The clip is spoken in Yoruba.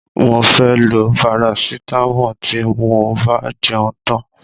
Mo fẹ́ lọ parasitámọ̀ tí mo bá jẹun tán.